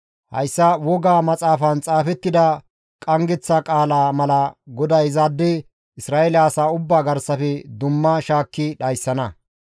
Hayssa wogaa maxaafan xaafettida qanggeththa qaalaa mala GODAY izaade Isra7eele asaa ubbaa garsafe dumma shaakki dhayssana.